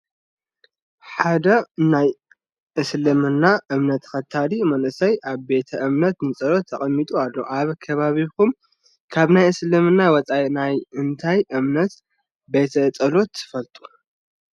ሓደ ናይ እስልምና እምምነት ተኸታሊ መንእሰይ ኣብ ቤተ እምነት ንፀሎት ተቐሚጡ ኣሎ፡፡ ኣብ ከባቢኹም ካብ ናይ እስልምና ወፃኢ ናይ እንታይ እምነት ቤተ ፀሎት ትፈልጡ?